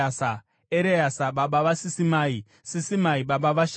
Ereasa baba vaSisimai, Sisimai baba vaSharumi,